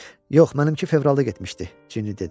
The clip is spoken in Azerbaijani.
Yox, mənimki fevralda getmişdi, Cinni dedi.